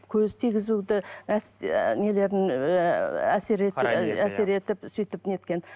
көз тигізуді нелерін әсер етіп әсер етіп сөйтіп неткен